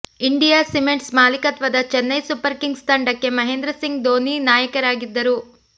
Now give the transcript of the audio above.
India cements ಮಾಲೀಕತ್ವದ Chennai super kings ತಂಡಕ್ಕೆ ಮಹೇಂದ್ರಸಿಂಗ್ ದೋನಿ ನಾಯಕರಾಗಿದ್ದರು